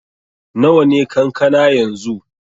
Nawa ne kankana yanzu?